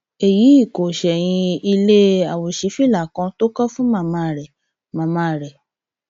èyí kò ṣẹyìn ilé àwòṣífìlà kan tó kọ fún màmá rẹ màmá rẹ